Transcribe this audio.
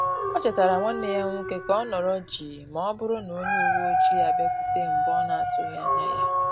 O chetara nwanneya nwoke ka ọ nọrọ jii ma ọ bụrụ na onye uwe ọjị abịakwute mgbe na-otughi anya ya